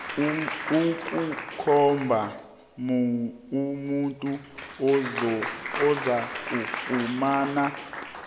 ukukhomba umuntu ozakufumana